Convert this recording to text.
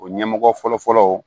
O ɲɛmɔgɔ fɔlɔ fɔlɔ